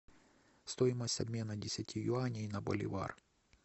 стоимость обмена десяти юаней на боливар